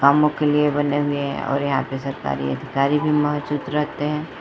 कामों के लिए बने हुए हैं और यहाँ पे सरकारी अधिकारी भी मौजूद रहते हैं।